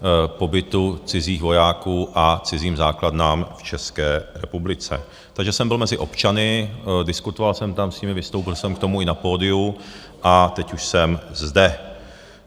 pobytu cizích vojáků a cizím základnám v České republice, takže jsem byl mezi občany, diskutoval jsem tam s nimi, vystoupil jsem k tomu i na pódiu a teď už jsem zde.